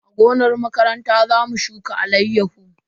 A gonar makaranta za mu shuka alayyahu.